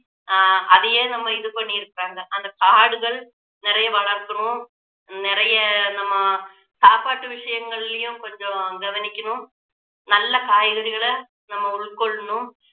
ஆஹ் அதையே நம்ம இது பண்ணி இருக்காங்க அந்த காடுகள் நிறைய வளர்க்கணும் நிறைய நம்ம சாப்பாட்டு விஷயங்களிலேயும் கொஞ்சம் கவனிக்கணும் நல்ல காய்கறிகளை நம்ம உள்கொள்ளணும்